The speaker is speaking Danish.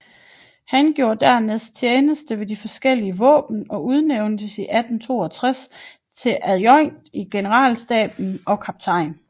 Han gjorde dernæst tjeneste ved de forskellige våben og udnævntes 1862 til adjoint i Generalstaben og kaptajn